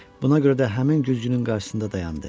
Buna görə də həmin güzgünün qarşısında dayandı.